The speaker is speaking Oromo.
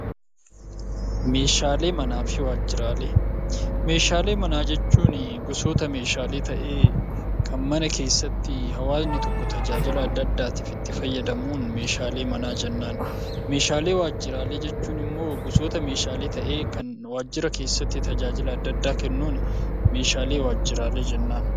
Meeshaalee manaa jechuun gosoota meeshaalee ta'ee kan mana keessatti hawaasni tajaajila adda addaatiif itti fayyadamuun meeshaalee manaa jennaan. Meeshaalee waajjiraalee jechuun immoo gosoota meeshaalee ta'ee kan waajjira keessatti tajaajila adda addaa kennuun meeshaalee waajjiraalee jennaan.